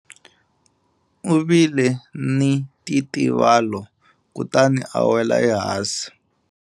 U vile ni ntitivalo kutani a wela ehansi.